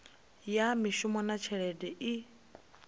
ya mishumo na tshelede i